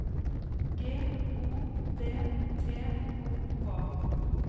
G O D T O K